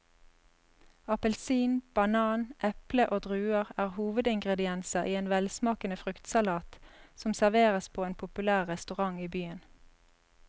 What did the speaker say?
Appelsin, banan, eple og druer er hovedingredienser i en velsmakende fruktsalat som serveres på en populær restaurant i byen.